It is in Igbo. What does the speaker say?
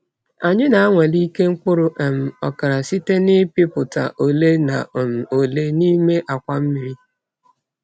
Anyị na-anwale ike mkpụrụ um okra site na ipupụta ole na um ole n'ime akwa mmiri.